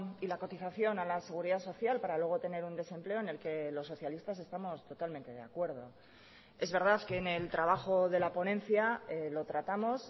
y la cotización a la seguridad social para luego tener un desempleo en el que los socialistas estamos totalmente de acuerdo es verdad que en el trabajo de la ponencia lo tratamos